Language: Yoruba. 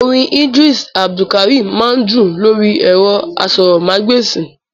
Orin ìdírísì Abdulkarim máa ń dún lórí ẹ̀rọ asọ̀rọ̀mágb'èsì